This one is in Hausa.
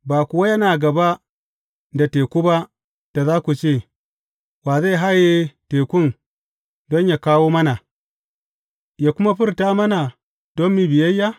Ba kuwa yana gaba da teku ba, da za ku ce, Wa zai haye tekun don yă kawo mana, yă kuma furta mana, don mu yi biyayya?